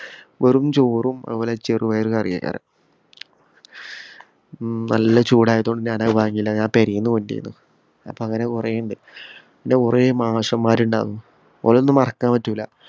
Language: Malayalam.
വെറും ചോറും, അതുപോലെ ചെറുപയറു കറിയാക്കാരം. ഉം നല്ല ചൂടായത് കൊണ്ട് ഞാനത് വാങ്ങിയില്ല. ഞാന്‍ പെരേന്ന് കൊണ്ട് ചെന്നു. അപ്പൊ അങ്ങനെ കൊറേ ഉണ്ട്. പിന്നെ, കൊറേ മാഷുമാരുണ്ടാര്ന്നു ഒരെ ഒന്നും മറക്കാന്‍ പറ്റൂല.